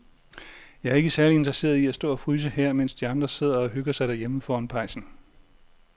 Jeg er ikke særlig interesseret i at stå og fryse her, mens de andre sidder og hygger sig derhjemme foran pejsen.